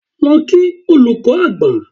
Lọ kí olùkọ́ àgbà!